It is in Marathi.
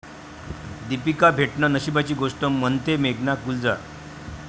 दीपिका भेटणं नशिबाची गोष्ट, म्हणतेय मेघना गुलजार